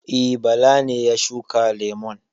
E, Bala ne ya shuka lemun.